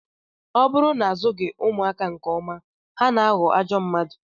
Ọ bụrụ na azụghị ụmụaka nke ọma, ha na-aghọ ajọ mmadụ